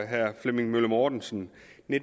herre flemming møller mortensen